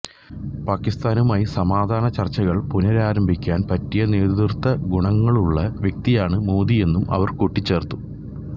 പാകിസ്താനുമായി സമാധാന ചർച്ചകൾ പുനരാരംഭിക്കാൻ പറ്റിയ നേതൃത്വ ഗുണങ്ങളുള്ള വ്യക്തിയാണ് മോദിയെന്നും അവർ കൂട്ടിച്ചേർത്തു